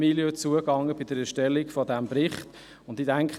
Man ging bei der Erstellung dieses Berichts nicht auf diese Milieus zu.